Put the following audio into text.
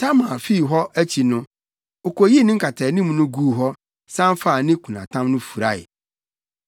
Tamar fii hɔ akyi no, okoyii ne nkataanim no guu hɔ, san faa ne kunatam no furae.